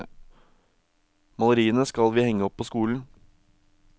Maleriene skal vi henge opp på skolen.